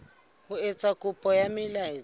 ho etsa kopo ya taelo